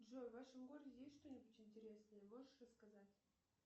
джой в вашем городе есть что нибудь интересное можешь рассказать